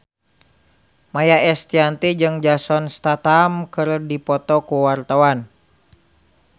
Maia Estianty jeung Jason Statham keur dipoto ku wartawan